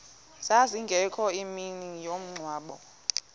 zazingekho ngemini yomngcwabo